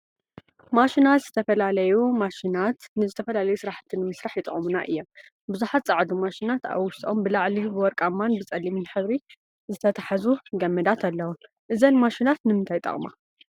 ማሽናት ዝተፈላለዩ ማሽናት ንዝተፈላለዩ ስራሕቲ ንምስራሕ ይጠቅሙና እዮም፡፡ ቡዙሓት ፀዓዱ ማሽናት አብ ውሽጠምን ብላዕሊን ብወርቃማን ብፀሊምን ሕብሪ ዝተተሓዙ ገመዳት አለው፡፡ እዘን ማሽናት ንምንታይ ይጠቅማ?